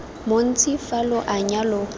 montsi fa lo anya lo